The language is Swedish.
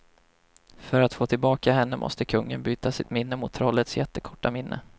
För att få tillbaka henne måste kungen byta sitt minne mot trollets jättekorta minne.